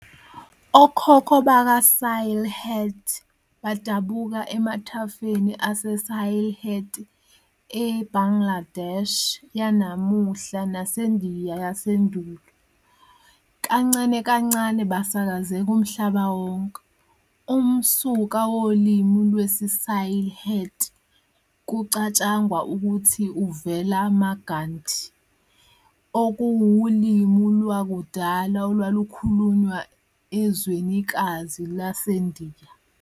Okhokho bakaSylhett badabuka emathafeni aseSylheti eBangladesh yanamuhla naseNdiya yasendulo, kancane kancane besakazeka emhlabeni wonke. Umsuka wolimi lwesiSylheti kucatshangwa ukuthi uvela Magadhi, okuwulimi lwakudala olukhulunywa ezwenikazi laseNdiya.